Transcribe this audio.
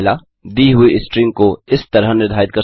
दी हुई स्ट्रिंग को इस तरह निर्धारित कर सकते हैं